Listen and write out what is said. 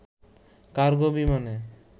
cargo বিমানে